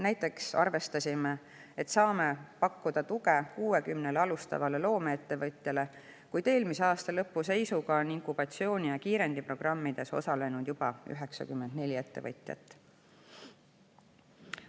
Näiteks arvestasime, et saame pakkuda tuge 60 alustavale loomeettevõtjale, kuid juba eelmise aasta lõpu seisuga oli inkubatsiooni‑ ja kiirendiprogrammides osalenud 94 ettevõtjat.